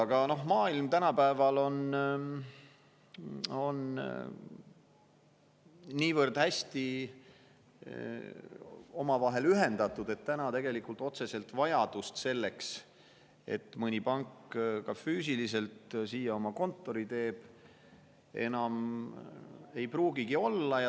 Aga maailm on tänapäeval niivõrd hästi ühendatud, et tegelikult otsest vajadust selle järele, et mõni pank ka füüsiliselt siia oma kontori teeks, enam ei pruugigi olla.